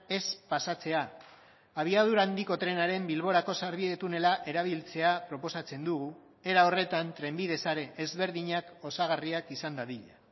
ez pasatzea abiadura handiko trenaren bilborako sarbide tunela erabiltzea proposatzen dugu era horretan trenbide sare ezberdinak osagarriak izan dadila